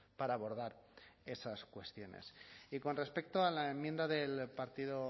para abordar esas cuestiones y con respecto a la enmienda del partido